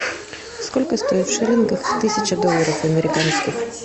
сколько стоит в шиллингах тысяча долларов американских